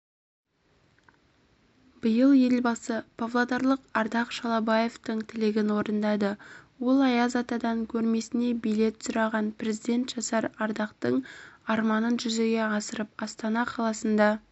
биыл елбасы павлодарлық ардақ шалабаевтың тілегін орындады ол аяз атадан көрмесіне билет сұраған президент жасар ардақтың арманын жүзеге асырып астана қаласында